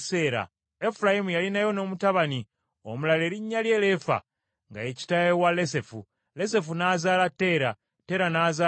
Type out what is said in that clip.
Efulayimu yalinayo n’omutabani omulala erinnya lye Leefa, nga ye kitaawe wa Lesefu, Lesefu n’azaala Teera, Teera n’azaala Takani,